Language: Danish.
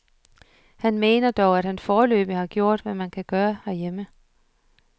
Han mener dog, at han foreløbig har gjort, hvad man kan gøre herhjemme.